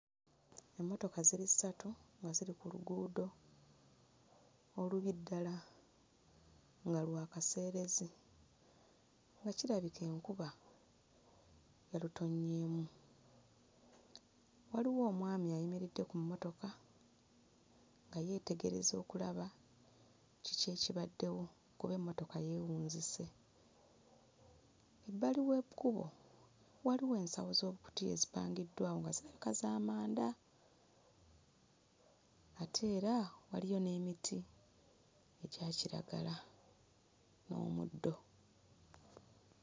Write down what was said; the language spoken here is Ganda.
Emmotoka ziri ssatu nga ziri ku luguudo olubi ddala nga lwa kaseerezi nga kirabika enkuba yalutonnyeemu. Waliwo omwami ayimiridde ku mmotoka nga yeetegereza okulaba kiki ekibaddewo kuba emmotoka yeewunzise. Bbali w'ekkubo waliwo ensawo z'obukutiya ezipangiddwawo nga kirabika za manda ate era waliyo n'emiti egya kiragala n'omuddo.